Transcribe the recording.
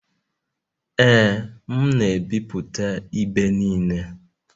Ee, m na-ebipụta ibe niile